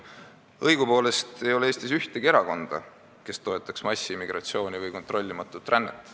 Õigupoolest ei ole Eestis ühtegi erakonda, kes toetaks massimigratsiooni või kontrollimatut rännet.